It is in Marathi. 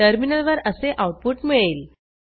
टर्मिनलवर असे आऊटपुट मिळेल